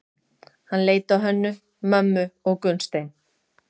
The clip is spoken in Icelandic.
Hann leit á Hönnu-Mömmu og Gunnstein.